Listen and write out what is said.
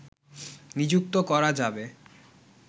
নিযুক্ত করা যাবে